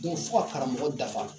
fo ka karamɔgɔ dafa